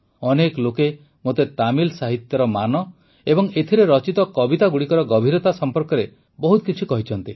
ଅନେକ ଲୋକେ ମୋତେ ତାମିଲ ସାହିତ୍ୟର ମାନ ଏବଂ ଏଥିରେ ରଚିତ କବିତାଗୁଡ଼ିକର ଗଭୀରତା ସମ୍ପର୍କରେ ବହୁତ କିଛି କହିଛନ୍ତି